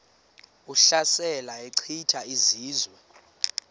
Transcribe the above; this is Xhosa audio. ehlasela echitha izizwe